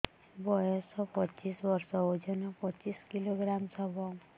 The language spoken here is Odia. ବୟସ ପଚିଶ ବର୍ଷ ଓଜନ ପଚିଶ କିଲୋଗ୍ରାମସ ହବ